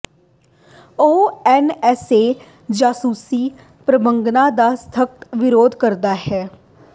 ਉਹ ਐਨਐਸਏ ਜਾਸੂਸੀ ਪ੍ਰੋਗਰਾਮਾਂ ਦਾ ਸਖਤ ਵਿਰੋਧ ਕਰਦਾ ਹੈ